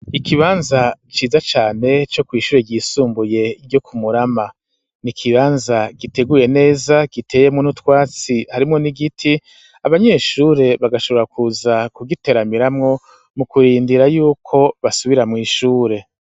Ikibanza ciza cane co kw'ishure ryisumbuye ryo ku Murama n'ikibanza giteguye neza giteyemwo n'utwatsi harimwo n'igiti abanyeshure bagashobora kuza ku giteramiramwo mu kurindira yuko basubira mw'ishure.